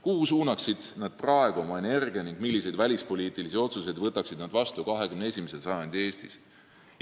Kuhu suunaksid nad praegu oma energia ning milliseid välispoliitilisi otsuseid võtaksid nad vastu 21. sajandi Eestis?